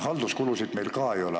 Halduskulusid meil ka ei ole.